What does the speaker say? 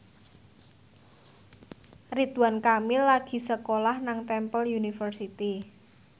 Ridwan Kamil lagi sekolah nang Temple University